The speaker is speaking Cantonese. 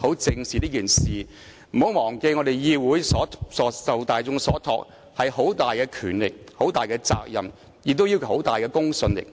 大家不要忘記，我們的議會受大眾所託，擁有很大的權力和責任，亦講求很大的公信力。